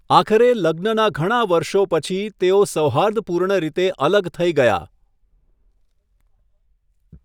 આખરે, લગ્નના ઘણા વર્ષો પછી, તેઓ સૌહાર્દપૂર્ણ રીતે અલગ થઈ ગયા.